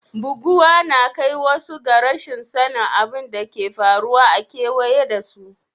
Buguwa na kai wasu ga rashin sani abun da ke faruwa a keweye da su.